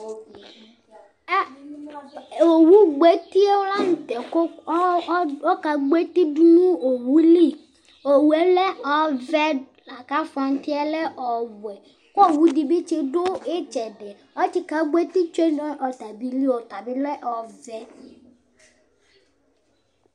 ɑ ɔwugbo ɛtiɛlɑnutɛ ku ɔkɑgbo ɛtidunu owuli owuɛ lɛ ɔvɛ kɑfontiɛ lɛ õwu owidibi du itsɛdi ɔtsikɑgbo ɛtitsu notaɑbili ɔtɑbi lɛ ɔvɛ